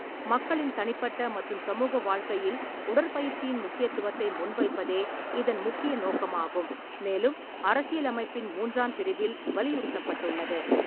மக்களின் தனிப்பட்ட மற்றும் சமூக வாழ்க்கையில் உடற்பயிற்சியின் முக்கியத்துவத்தை முன்வைப்பதே இதன் முக்கிய நோக்கமாகும், மேலும் அரசியலமைப்பின் மூன்றாம் பிரிவில் வலியுறுத்தப்பட்டுள்ளது.